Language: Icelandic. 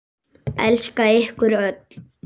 Elska ykkur öll.